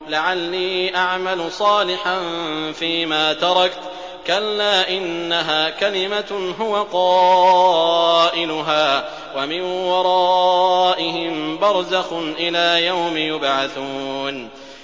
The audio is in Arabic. لَعَلِّي أَعْمَلُ صَالِحًا فِيمَا تَرَكْتُ ۚ كَلَّا ۚ إِنَّهَا كَلِمَةٌ هُوَ قَائِلُهَا ۖ وَمِن وَرَائِهِم بَرْزَخٌ إِلَىٰ يَوْمِ يُبْعَثُونَ